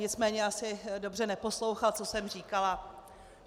Nicméně asi dobře neposlouchal, co jsem říkala.